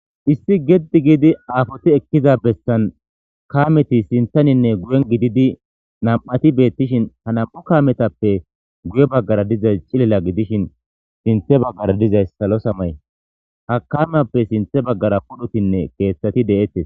Issi geddi giidi aafoti ekkiza bessan kaameti sinthaninne guyen gididi nam'ati beettishin ha nam'u kaametappe guye baggara dizays cilila gidishin sinthe baggara dizays salo samay ha kamappe sinthe baggara pudhutinne keeththati de'ettes.